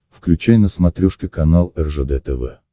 включай на смотрешке канал ржд тв